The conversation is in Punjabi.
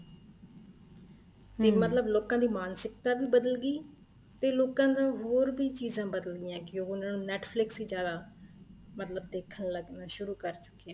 ਦੇਖ ਮਤਲਬ ਲੋਕਾਂ ਦੀ ਮਾਨਸਿਕਤਾ ਵੀ ਬਦਲ ਗਈ ਤੇ ਲੋਕਾਂ ਦਾ ਹੋਰ ਵੀ ਚੀਜ਼ਾਂ ਬਦਲ ਗਈਆਂ ਕੀ ਉਹਨਾ ਨੂੰ Netflix ਹੀ ਜਿਆਦਾ ਮਤਲਬ ਦੇਖਣ ਲੱਗਣਾ ਸ਼ੁਰੂ ਕਰ ਚੁੱਕੇ ਏ